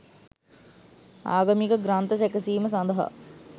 ආගමික ග්‍රන්ථ සැකසීම සඳහා